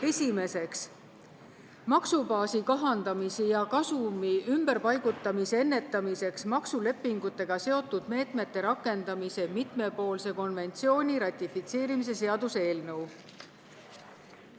Esimeseks, maksubaasi kahandamise ja kasumi ümberpaigutamise ennetamiseks maksulepingutega seotud meetmete rakendamise mitmepoolse konventsiooni ratifitseerimise seaduse eelnõu.